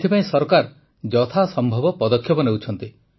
ଏଥିପାଇଁ ସରକାର ଯଥାସମ୍ଭବ ପଦକ୍ଷେପ ନେଉଛନ୍ତି